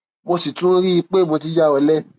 mo sì tún rí i i pé mo ti ya ọlẹ